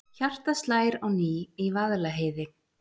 Hjartað slær á ný í Vaðlaheiði